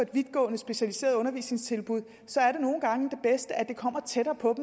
vidtgående specialiserede undervisningstilbud så er det nogle gange det bedste at det kommer tættere på